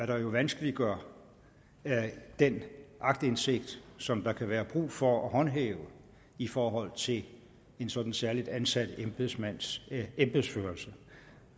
der jo vanskeliggør den aktindsigt som der kan være brug for at håndhæve i forhold til en sådan særligt ansat embedsmands embedsførelse